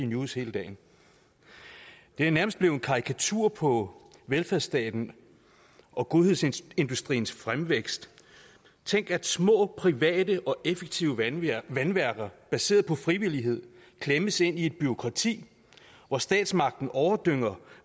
news hele dagen det er nærmest blevet en karikatur på velfærdsstaten og godhedsindustriens fremvækst tænk at små private og effektive vandværker vandværker baseret på frivillighed klemmes ind i et bureaukrati hvor statsmagten overdynger